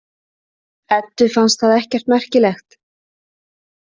Eddu fannst það ekkert merkilegt.